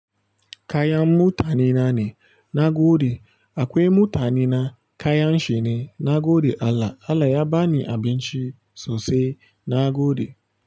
Kayan mutane na ne nagode. Akwai mutane na kayan shine na gode Allah. Allah ya ba ni abinci sosai na gode.